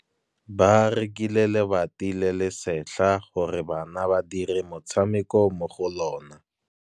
Ba rekile lebati le le setlha gore bana ba dire motshameko mo go lona.